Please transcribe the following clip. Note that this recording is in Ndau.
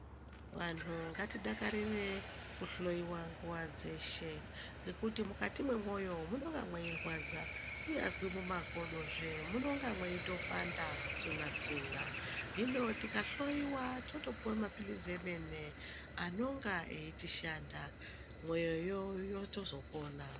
Vanhu ngatidakarire kohloyiwa nguwa dzeshe ngekuti mukati memwoyo munonga mweirwadza kunyazi nemukati mwemakodozve munonga mweitopanda kutsuna tsuna hino tikahloiwa toyopuwe mapilizi emene anonga eitishanda mwoyoyo yotozopona.